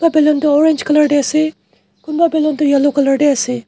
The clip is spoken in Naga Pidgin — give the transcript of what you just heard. balloon toh orange color te ase kunba balloon toh yellow color te ase.